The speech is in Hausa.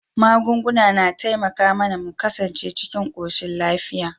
Magunguna na taimaka mAna mu ƙasance cikin koshin lafiya